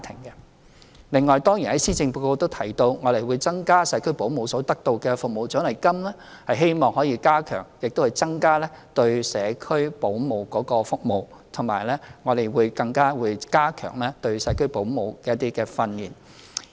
其次，施政報告亦提到，我們會增加社區保姆所得到的服務獎勵金，希望可以加強和增加社區保姆的服務，而且我們亦會加強對社區保姆的訓練。